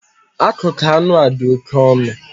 Akụkụ anụ a dị oke ọnụ